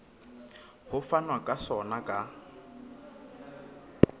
ho fanwa ka sona ka